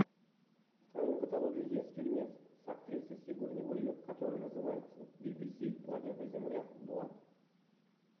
в твоем каталоге есть фильмец с актрисой сигурни уивер который называется бибиси планета земля два